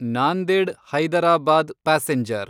Nanded Hyderabad passenger